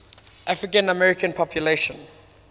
african american population